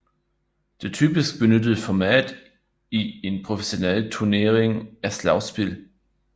Det typisk benyttede format i en professionel turnering er slagspil